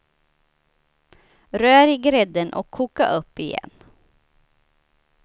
Rör i grädden och koka upp igen.